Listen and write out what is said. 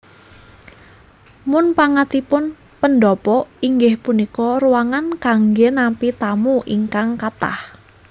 Munpangatipun pendhapa inggih punika ruangan kanggé nampi tamu ingkang kathah